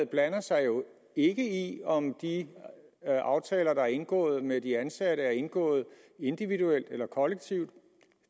blander sig jo ikke i om de aftaler der er indgået med de ansatte er indgået individuelt eller kollektivt